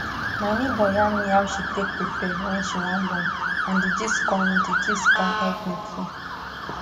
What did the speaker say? my neighbor yarn me how she take prepare wen she wan born and d gist con d gist con help me too